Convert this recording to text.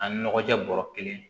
A nɔgɔ tɛ bɔrɔ kelen